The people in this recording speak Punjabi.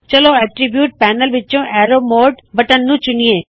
ਚਲੋ ਐਟਰੀਬਿਊਟਸ ਪੈਨਲ ਵਿੱਚੋ arrow mode arrow mode button ਨੂੰ ਚੁਨਿਏ